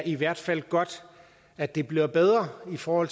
i hvert fald er godt at det bliver bedre for